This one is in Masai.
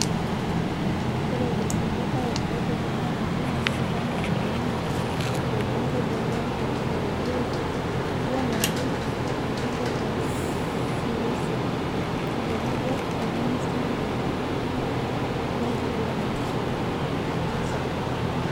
Ore ilkulia otijing etumo naa Daniel Wanyama(Olbungei loloontoluo le webuye), John Waluke (Olbungei le Sirisia) otenebo olministai liopa le nkiguran Rashid Echesa.